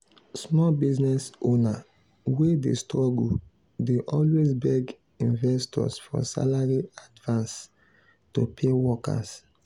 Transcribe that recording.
small business owner wey dey struggle dey always beg investors for salary advance to pay workers